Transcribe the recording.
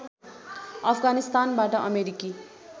अफगानिस्तानबाट अमेरिकी